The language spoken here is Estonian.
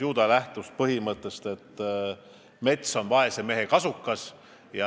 Ju ta lähtus vanasõnast, et mets on vaese mehe kasukas.